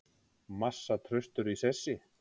Massa traustur í sessi